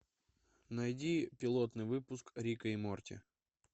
найди пилотный выпуск рика и морти